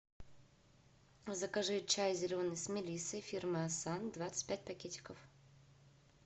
закажи чай зеленый с мелиссой фирмы асан двадцать пять пакетиков